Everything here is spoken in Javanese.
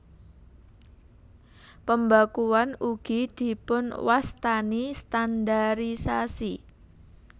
Pembakuan ugi dipunwastani standarisasi